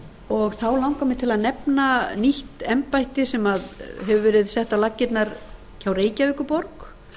og þá langar mig til að nefna nýtt embætti sem hefur verið sett á laggirnar hjá reykjavíkurborg